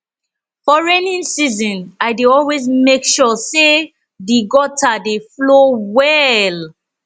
for rainy season i dey always mek sure say di gutter dey flow well